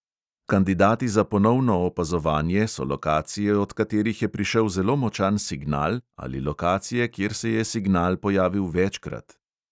Kandidati za ponovno opazovanje so lokacije, od katerih je prišel zelo močan signal, ali lokacije, kjer se je signal pojavil večkrat.